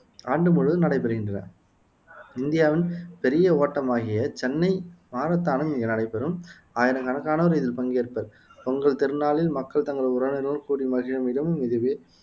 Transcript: ஆண்டு முழுவதும் நடைபெறுகின்றன இந்தியாவின் பெரிய ஓட்டமாகிய சென்னை மாரத்தானும் இங்கு நடைபெறும் ஆயிரக்கணக்கானோர் இதில் பங்கேற்பர் பொங்கல் திருநாளில் மக்கள் தங்கள் உறவினர்களுடன் கூடி மகிழும் இடமும் இதுவே